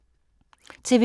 TV 2